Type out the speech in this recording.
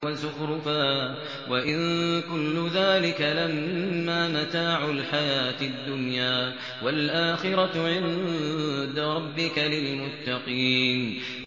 وَزُخْرُفًا ۚ وَإِن كُلُّ ذَٰلِكَ لَمَّا مَتَاعُ الْحَيَاةِ الدُّنْيَا ۚ وَالْآخِرَةُ عِندَ رَبِّكَ لِلْمُتَّقِينَ